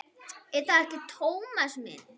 Er það ekki, Tómas minn?